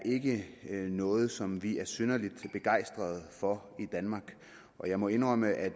noget som vi er synderlig begejstret for i danmark og jeg må indrømme at